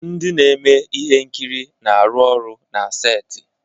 Ndị na-eme ihe nkiri na-arụ ọrụ na seti